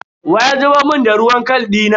Wa ya zubar mun da ruwan kal dina?